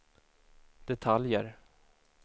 detaljer